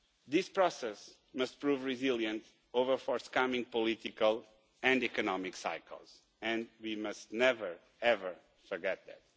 This process must prove resilient over forthcoming political and economic cycles, and we must never forget that.